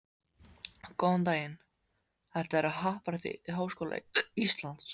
Góðan daginn, þetta er á Happadrætti Háskóla Íslands.